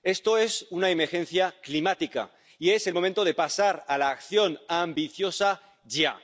Esto es una emergencia climática y es el momento de pasar a la acción ambiciosa ya.